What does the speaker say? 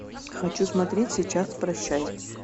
хочу смотреть сейчас прощай